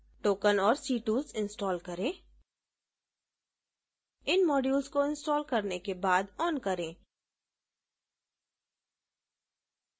token और ctools install करें इन modules को install करने के बाद on करें